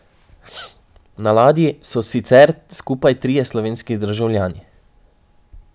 Na ladji so sicer skupaj trije slovenski državljani.